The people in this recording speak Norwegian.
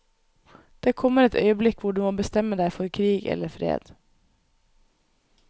Det kommer et øyeblikk hvor du må bestemme deg for krig eller fred.